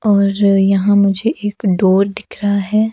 और यहां मुझे एक डोर दिख रहा है।